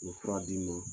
U ye fura d'i ma